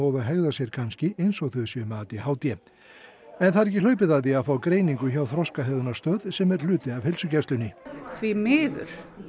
og hegða sé kannski eins og þau séu með a d h d en það er ekki hlaupið að því að fá greiningu hjá sem er hluti af heilsugæslunni því miður